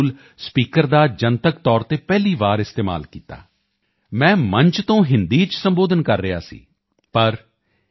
tool speaker ਦਾ ਜਨਤਕ ਤੌਰ ਤੇ ਪਹਿਲੀ ਵਾਰ ਇਸਤੇਮਾਲ ਕੀਤਾ ਮੈਂ ਮੰਚ ਤੋਂ ਹਿੰਦੀ ਚ ਸੰਬੋਧਨ ਕਰ ਰਿਹਾ ਸੀ ਪਰ ਏ